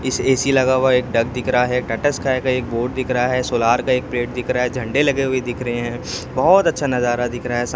इस ए_सी लगा हुआ एक दिख रहा है टाटा स्काई का एक बोर्ड दिख रहा है सोलार का एक प्लेट दिख रहा है झंडे लगे हुए दिख रहे हैं बहुत अच्छा नजारा दिख रहा है सा--